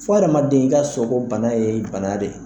Fɔ adamaden i ka sɔn bana ye bana de ye.